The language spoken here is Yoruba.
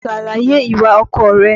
Ṣàlàyè ìwà ọkọ rẹ.